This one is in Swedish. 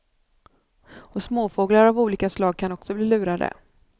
Och småfåglar av olika slag kan också bli lurade.